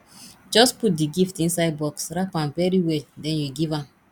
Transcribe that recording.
just put the gift inside box wrap am very well den you give am